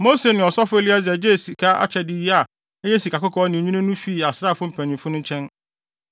Mose ne ɔsɔfo Eleasar gyee saa akyɛde yi a ɛyɛ sikakɔkɔɔ ne nnwinne no fii asraafo mpanyimfo no nkyɛn.